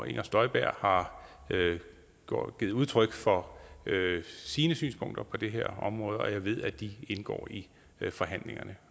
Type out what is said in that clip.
inger støjberg har givet udtryk for sine synspunkter på det her område og jeg ved at de indgår i forhandlingerne